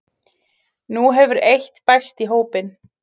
Nú hefur eitt bæst í hópinn